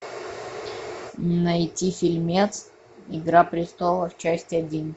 найти фильмец игра престолов часть один